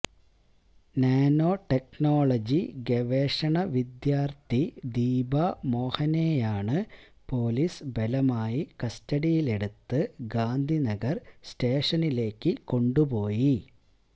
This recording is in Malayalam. നാനോ ടെക്നോളജി ഗവേഷണ വിദ്യാർത്ഥി ദീപ മോഹനെയാണ് പൊലീസ് ബലമായി കസ്റ്റഡിയിലെടുത്ത് ഗാന്ധിനഗർ സ്റ്റേഷനിലേക്ക് കൊണ്ടുപോയി